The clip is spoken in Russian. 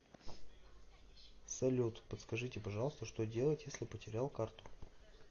салют подскажите пожалуйста что делать если потерял карту